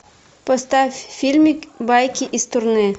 поставь фильмик байки из турне